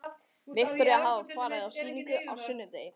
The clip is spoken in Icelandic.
Viktoría hafði farið á sýninguna á sunnudegi.